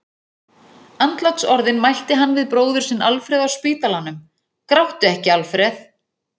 Andlátsorðin mælti hann við bróður sinn Alfreð á spítalanum: Gráttu ekki, Alfreð!